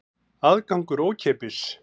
Aðgangur er ókeypis.